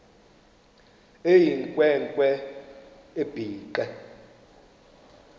eyinkwe nkwe ebhinqe